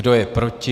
Kdo je proti?